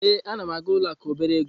Ee, a na m aga ụlọ akụ obere ego.